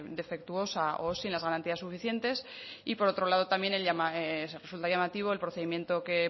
defectuosa o sin las garantías suficientes y por otro lado también resulta llamativo el procedimiento que